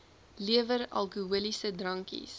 lewer alkoholiese drankies